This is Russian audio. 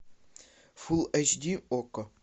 фул эйч ди окко